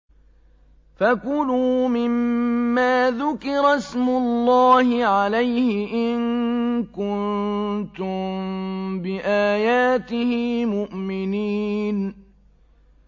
فَكُلُوا مِمَّا ذُكِرَ اسْمُ اللَّهِ عَلَيْهِ إِن كُنتُم بِآيَاتِهِ مُؤْمِنِينَ